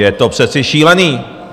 Je to přece šílené!